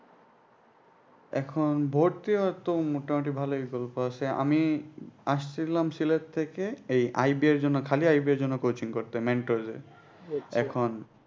এখন ভর্তি হওয়ার তো মোটামুটি ভালই গল্প আছে আমি আসছিলাম সিলেট থেকে এই এর জন্য coaching করতে এখন